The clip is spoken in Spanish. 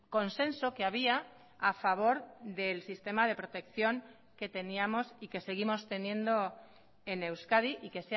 consenso que había a favor del sistema de protección que teníamos y que seguimos teniendo en euskadi y que